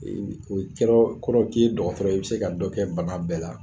i be o ye kɛrɔɔ kɔrɔ k'i ye dɔgɔtɔrɔ i bɛ se ka dɔ kɛ bana bɛɛ la.